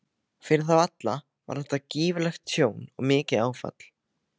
Fyrir þá alla var þetta gífurlegt tjón og mikið áfall.